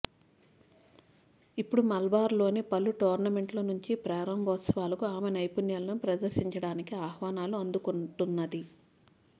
ఇప్పుడు మలబార్లోని పలు టోర్నమెంట్ల నుంచి ప్రారంభోత్సవాలకు ఆమె నైపుణ్యాలను ప్రదర్శించడానికి ఆహ్వానాలు అందుకుంటున్నది